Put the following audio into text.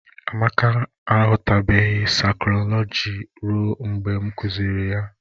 Amake aghọtaghịbụ zarinkọlọji ruo mgbe m kuziri ya